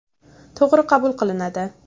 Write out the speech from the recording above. To‘g‘ri qabul qilinadi.